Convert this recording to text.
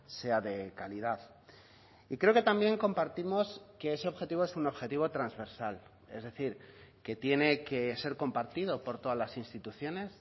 sea de calidad y creo que también compartimos que ese objetivo es un objetivo transversal es decir que tiene que ser compartido por todas las instituciones